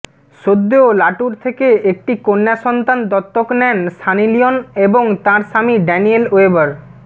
সদ্য লাটুর থেকে একটি কন্যা সন্তান দত্তক নেন সানি লিওন এবং তাঁর স্বামী ড্যানিয়েল ওয়েবর